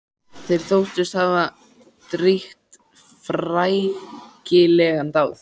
Þeir þóttust hafa drýgt frækilega dáð.